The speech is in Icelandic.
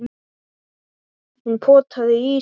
Hún potaði í ísinn.